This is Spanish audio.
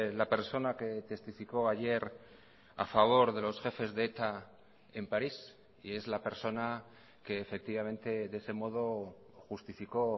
la persona que testificó ayer a favor de los jefes de eta en paris y es la persona que efectivamente de ese modo justificó